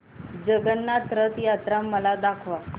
जगन्नाथ रथ यात्रा मला दाखवा